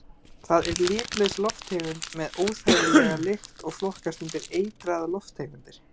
Það er litlaus lofttegund með óþægilega lykt og flokkast undir eitraðar lofttegundir.